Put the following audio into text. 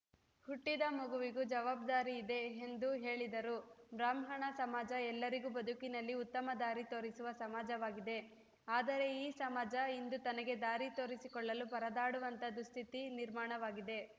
ಹುಟ್ಟಿದ ಮಗುವಿಗೂ ಜವಾಬ್ದಾರಿಯಿದೆ ಎಂದು ಹೇಳಿದರು ಬ್ರಾಹ್ಮಣ ಸಮಾಜ ಎಲ್ಲರಿಗೂ ಬದುಕಿನಲ್ಲಿ ಉತ್ತಮ ದಾರಿ ತೋರಿಸುವ ಸಮಾಜವಾಗಿದೆ ಆದರೆ ಈ ಸಮಾಜ ಇಂದು ತನಗೆ ದಾರಿ ತೋರಿಸಿಕೊಳ್ಳಲು ಪರದಾಡುವಂಥ ದುಸ್ಥಿತಿ ನಿರ್ಮಾಣವಾಗಿದೆ